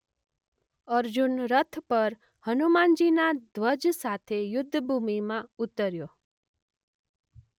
અર્જુન રથ પર હનુમાનજીના ધ્વજ સાથે યુદ્ધ ભૂમિમાં ઉતર્યો.